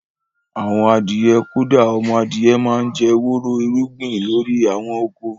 Àwọn adìyẹ, kódà ọmọ adìyẹ máa ń jẹ́ wóró irúgbìn lórí àwọn oko